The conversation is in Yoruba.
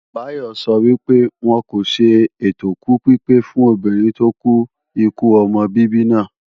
Bayo sọ wípé, wọn kò ṣe ètòkú pípé fún obìnrin tó kú ikú ọmọ bíbí náà